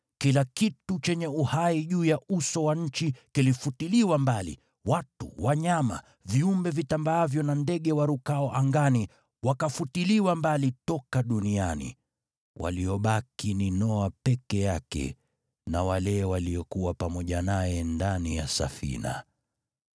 Kila kitu chenye uhai juu ya uso wa nchi kilifutiliwa mbali, watu, wanyama, viumbe vitambaavyo na ndege warukao angani wakafutiliwa mbali toka duniani. Waliobaki ni Noa peke yake na wale waliokuwa pamoja naye ndani ya safina.